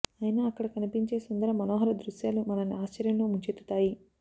ఐనా అక్కడ కనిపించే సుందర మనోహర దృశ్యాలు మనల్ని ఆశ్చర్యంలో ముంచెత్తుతాయి